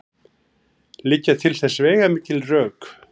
Liggja til þess veigamikil rök.